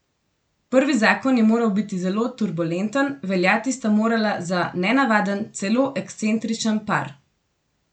Prvi zakon je moral biti zelo turbulenten, veljati sta morala za nenavaden, celo ekscentričen par.